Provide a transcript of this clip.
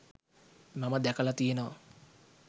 මම දැකලා තියෙනවා.